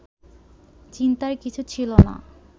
চিন্তার কিছু ছিল না